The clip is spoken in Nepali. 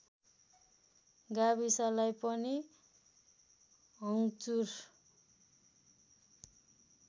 गाविसलाई पनि हङ्चुर